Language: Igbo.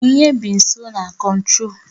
Onyinye bi nso na Kontrol